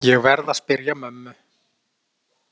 Ég verð að spyrja mömmu.